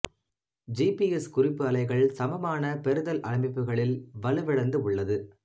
G P S குறிப்பு அலைகள் சமமான பெறுதல் அமைப்புகளில் வலுவிழந்து உள்ளது